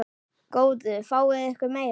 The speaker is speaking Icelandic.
Góðu fáið ykkur meira.